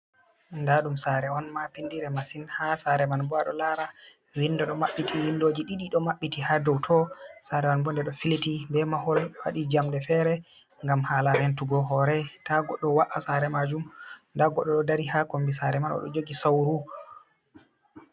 Nda ɗum sare on ma pindire masin, ha sare man bo aɗo lara windo ɗo maɓɓiti windoji ɗiɗi ɗo maɓɓiti ha dou to, sare man bonde ɗo filiti be mahol ɓe waɗi jamɗe fere ngam hala rentugo hore ta goɗɗo wa’a sare majum, nda goɗɗo ɗo dari ha kombi sare man oɗo jogi sauru.